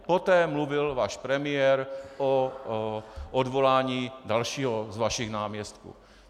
Poté mluvil váš premiér o odvolání dalšího z vašich náměstků.